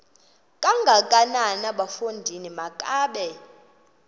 kangakanana bafondini makabe